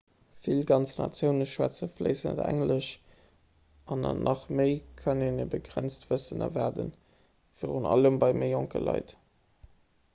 vill ganz natioune schwätze fléissend englesch an an nach méi kann een e begrenzt wëssen erwaarden virun allem bei méi jonke leit